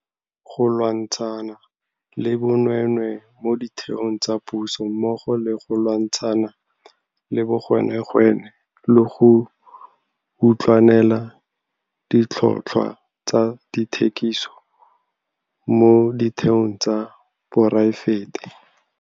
Go lwantshana le bonweenwee mo ditheong tsa puso mmogo le go lwantsha na le bogwenegwene le go utlwanela ditlhotlhwa tsa dithekiso mo ditheong tsa poraefete.